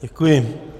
Děkuji.